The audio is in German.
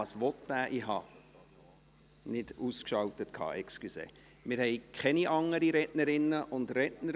Es haben sich keine weiteren Redner und Rednerinnen gemeldet.